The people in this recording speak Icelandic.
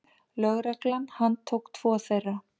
Lögregla handtók tvo þeirra.